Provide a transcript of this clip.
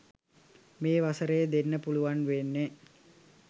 මේ වසරේ දෙන්න පුළුවන් වෙන්නේ